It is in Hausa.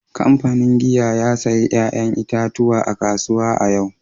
Kamfanin giya ya sayi 'ya'yan itatuwa a kasuwa a yau